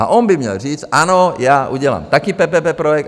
A on by měl říct, ano, já udělám taky PPP projekt.